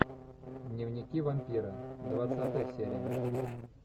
дневники вампира двадцатая серия